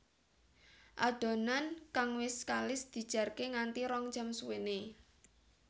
Adonan kang wis kalis dijarke nganti rong jam suwéné